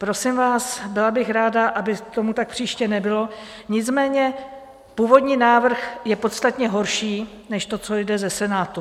Prosím vás, byla bych ráda, aby tomu tak příště nebylo, nicméně původní návrh je podstatně horší než to, co jde ze Senátu.